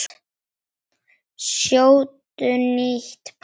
Sjóddu nýtt pasta.